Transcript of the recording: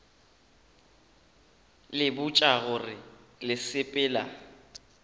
le botša gore le sepela